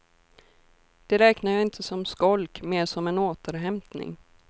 Det räknar jag inte som skolk, mer som en återhämtning.